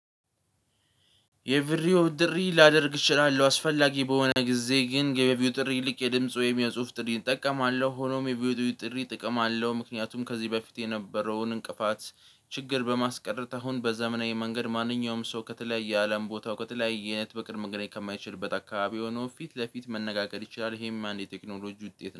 የቪሪዮ ጥሪ ላደርግ እችላለሁ አስፈላጊ በሆነ ጊዜ ግን የቪዲዮ ጥሪ ይልቅ የድምጽ ወይም የጽሁፍ ጥሪ እጠቀማለሁ። ሆኖም የቪዲዮ ጥሪ እጠቀማለሁ ምክንያቱም ከዚህ በፊት የነበረውን እንቅፋት ችግር በማስቀረት አሁን በዘመናዊ መንገድ ማንኛውም ሰው ከተለያየ አለም ቦታ ከተለያየ አይነት በቅርብ መንገድ ከማይችል በተካባቢ ሆኖ ፊት ለፊት መነጋገር ይችላል። ይሄም አንድ የቴክኖሎጂ ውጤት ነው